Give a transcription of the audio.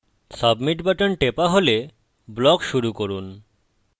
submit button টেপা হলে block শুরু করুন